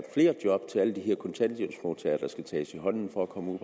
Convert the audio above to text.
flere job til alle de her kontanthjælpsmodtagere der skal tages i hånden for at komme ud